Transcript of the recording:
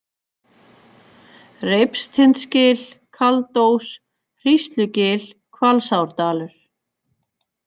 Reipstindsgil, Kaldós, Hríslugil, Hvalsárdalur